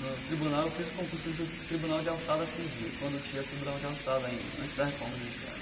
No tribunal, eu fiz o concurso de Tribunal de Alçada Civil, quando tinha Tribunal de Alçada ainda, antes da Reforma Judiciária.